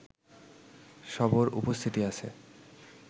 সরব উপস্থিতি আছে